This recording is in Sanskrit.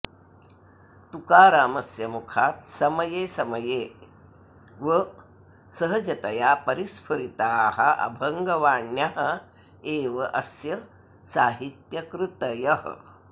तुकारामस्य मुखात् समये समये व सहजतया परिस्फुरिताः अभङ्गवाण्यः एव अस्य साहित्यकृतयः